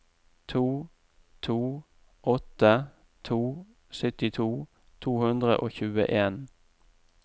to to åtte to syttito to hundre og tjueen